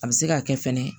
A bɛ se k'a kɛ fɛnɛ